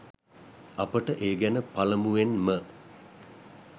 අපට ඒ ගැන පළමුවෙන් ම